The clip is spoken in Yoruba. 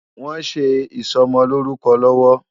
Wòn sé isòmòlórúkò lòwò